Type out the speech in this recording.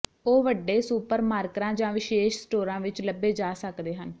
ਉਹ ਵੱਡੇ ਸੁਪਰਮਾਰਕਰਾਂ ਜਾਂ ਵਿਸ਼ੇਸ਼ ਸਟੋਰਾਂ ਵਿੱਚ ਲੱਭੇ ਜਾ ਸਕਦੇ ਹਨ